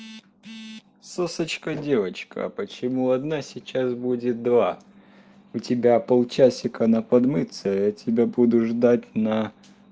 сосочка девочка а почему одна сейчас будет два у тебя полчасика на подмыться я тебя буду ждать на